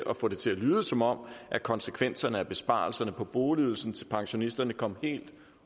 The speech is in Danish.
at få det til at lyde som om konsekvenserne af besparelserne på boligydelsen til pensionisterne kom helt